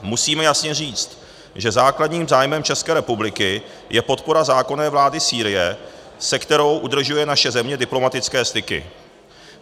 Musíme jasně říct, že základním zájmem České republiky je podpora zákonné vlády Sýrie, se kterou udržuje naše země diplomatické styky.